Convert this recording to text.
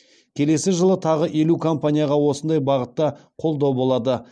келесі жылы тағы елу компанияға осындай бағытта қолдау болады